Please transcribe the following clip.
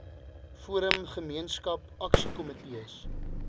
forum gemeenskap aksiekomitees